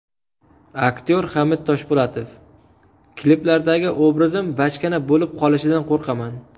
Aktyor Hamid Toshpo‘latov: Kliplardagi obrazim bachkana bo‘lib qolishidan qo‘rqaman.